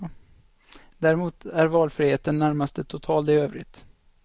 Däremot är valfriheten närmast total i övrigt.